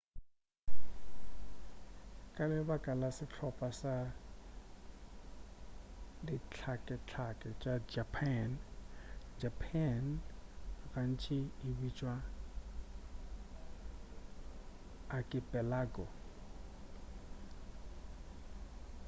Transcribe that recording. ka lebaka la sehlopha sa dihlakehlake tša japan japan gantši e bitšwa archipelago